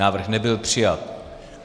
Návrh nebyl přijat.